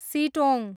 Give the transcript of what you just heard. Sittong